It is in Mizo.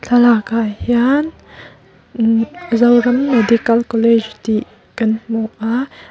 thlalak ah hian imh zoram medical college tih kan hmu a.